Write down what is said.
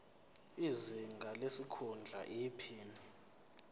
izinga lesikhundla iphini